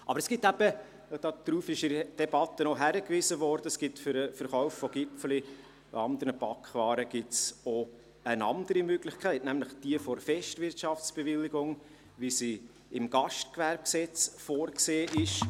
Aber es gibt eben – darauf wurde in der Debatte auch hingewiesen – für den Verkauf von Gipfeli und anderen Backwaren auch eine andere Möglichkeit, nämlich jene der Festwirtschaftsbewilligung, wie sie im GGG vorgesehen ist.